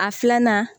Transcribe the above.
A filanan